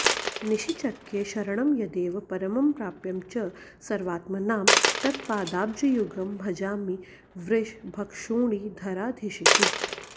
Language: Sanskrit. निश्चिक्ये शरणं यदेव परमं प्राप्यं च सर्वात्मनां तत्पादाब्जयुगं भजामि वृषभक्षोणीधराधीशितुः